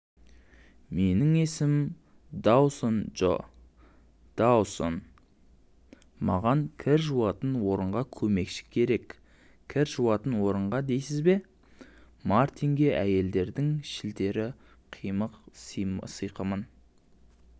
менің есімім доусон джо доусон маған кір жуатын орынға көмекші кереккір жуатын орынға дейсіз бе мартинге әйелдердің шілтерлі қиқым-сиқымын